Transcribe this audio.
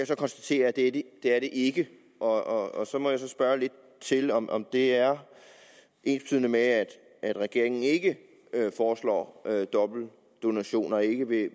så konstatere at det er de ikke og og så må jeg spørge lidt til om om det er ensbetydende med at regeringen ikke foreslår dobbeltdonation og ikke vil